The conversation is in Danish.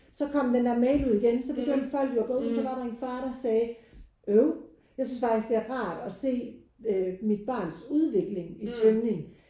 Så kom den der mail ud igen så begyndte folk jo at gå ud og så var der en far og sagde øv jeg synes faktisk det er rart at se øh mit barns udvikling i svømning